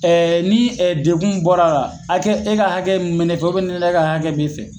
ni dekun bɔra ra, hakɛ, e ka hakɛ min bɛ ne fɛ ni ne ka hakɛ be fɛ